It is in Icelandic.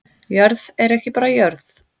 Jörð er ekki bara jörð